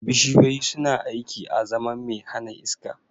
Bishiyoyi suna aiki azaman mai hana iska